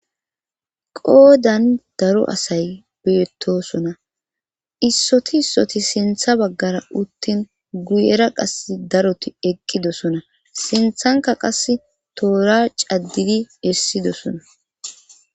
qoodan daro asay beettosona issoti issoti sintha baggara uttin guyera qas daroti eqqidosona sinthanka qas toora caddidi hessidosona